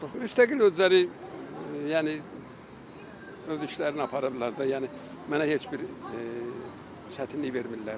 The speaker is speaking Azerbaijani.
Müstəqil özləri yəni öz işlərini apara bilərlər də, yəni mənə heç bir çətinlik vermirlər.